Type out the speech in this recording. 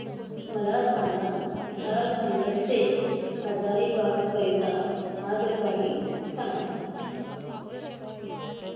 मला झारखंड से हजारीबाग करीता आगगाडी सांगा